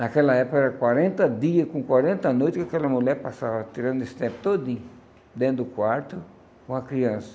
Naquela época era quarenta dias com quarenta noites que aquela mulher passava tirando esse tempo todinho dentro do quarto com a criança.